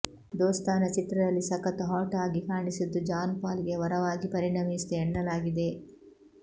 ದೋಸ್ತಾನ ಚಿತ್ರದಲ್ಲಿ ಸಕತ್ ಹಾಟ್ ಆಗಿ ಕಾಣಿಸಿದ್ದು ಜಾನ್ ಪಾಲಿಗೆ ವರವಾಗಿ ಪರಿಣಮಿಸಿದೆ ಎನ್ನಲಾಗಿದೆ